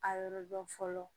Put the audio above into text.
A yɔrɔ dɔn fɔlɔ